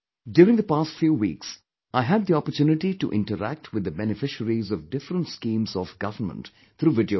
During the past few weeks, I had the opportunity to interact with the beneficiaries of different schemes of government through video call